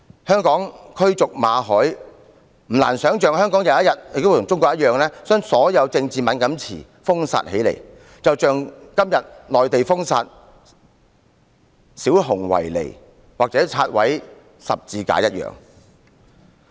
香港驅逐馬凱，不難想象香港有一天亦會像中國一樣，把所有政治敏感詞封殺，就像今天內地封殺小熊維尼或拆毀十字架一樣。